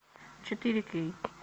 четыре кей